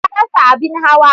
Ta rasa abin hawa.